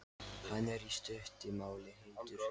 Hann er, í stuttu máli, heitur.